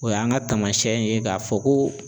O y'an ka taamayɛn ye k'a fɔ ko